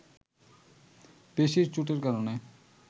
পেশির চোটের কারণে